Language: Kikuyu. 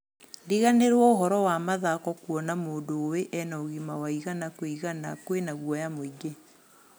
Riganĩrwo ũhoro wa mathako, kuona mũndu ũĩ ena ũgĩma wa igana kwi igana kwĩna guoya mũingi.